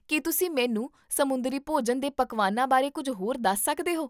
ਕੀ ਤੁਸੀਂ ਮੈਨੂੰ ਸਮੁੰਦਰੀ ਭੋਜਨ ਦੇ ਪਕਵਾਨਾਂ ਬਾਰੇ ਕੁੱਝ ਹੋਰ ਦੱਸ ਸਕਦੇ ਹੋ?